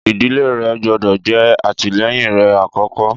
Ìdílé rẹ gbọ́dọ̀ jẹ́ alátìlẹyìn rẹ àkókó.